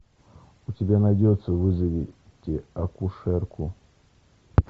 у тебя найдется вызовите акушерку